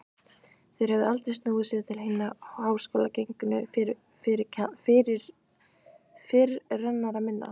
Þeir höfðu aldrei snúið sér til hinna háskólagengnu fyrirrennara minna.